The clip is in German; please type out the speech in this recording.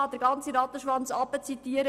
Man kann den ganzen Rattenschwanz zitieren.